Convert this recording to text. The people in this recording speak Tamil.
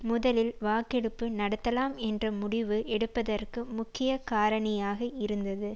முதலில் வாக்கெடுப்பு நடத்தலாம் என்ற முடிவு எடுப்பதற்கு முக்கிய காரணியாக இருந்தது